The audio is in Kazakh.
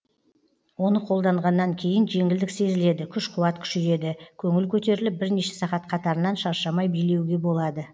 оны қолданғаннан кейін жеңілдік сезіледі күш қуат күшейеді көңіл көтеріліп бірнеше сағат қатарынан шаршамай билеуге болады